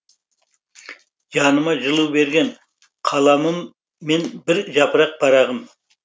жаныма жылу берген қаламым мен бір жапырақ парағым